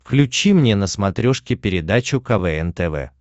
включи мне на смотрешке передачу квн тв